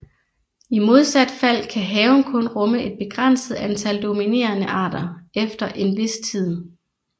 I modsat fald kan haven kun rumme et begrænset antal dominerende arter efter en vis tid